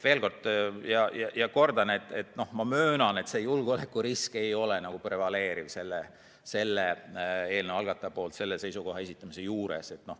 Veel kord kordan: ma möönan, et eelnõu algatamisel ei olnud julgeolekurisk prevaleeriv.